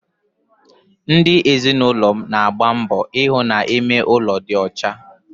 Ndi ezinụlọm na-agba mbọ ihụ na ime ụlọ dị ọcha